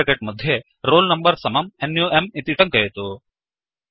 curly bracket मध्ये roll number समम् नुं इति टङ्कयतु